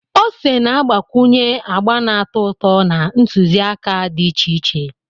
Ose na-agbakwunye agba na-atọ ụtọ na ntụziaka dị iche iche.